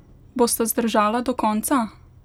Bosta zdržala do konca?